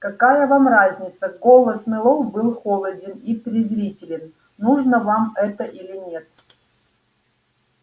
какая вам разница голос мэллоу был холоден и презрителен нужно вам это или нет